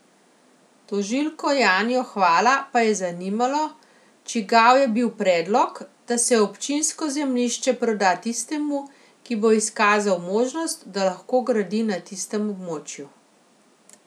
Tožilko Janjo Hvala pa je zanimalo, čigav je bil predlog, da se občinsko zemljišče proda tistemu, ki bo izkazal možnost, da lahko gradi na tistem območju.